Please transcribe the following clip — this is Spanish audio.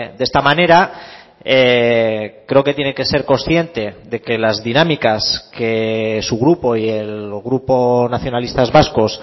de esta manera creo que tiene que ser consciente de que las dinámicas que su grupo y el grupo nacionalistas vascos